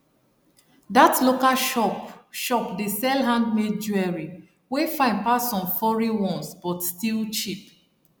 that local shop shop dey sell handmade jewelry wey fine pass some foreign ones but still cheap